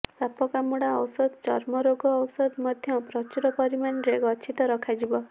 ସାପ କାମୁଡା ଔଷଧ ଚର୍ମ ରୋଗ ଔଷଧ ମଧ୍ୟ ପ୍ରଚୁର ପରିମାଣରେ ଗଛିତ ରଖାଯିବ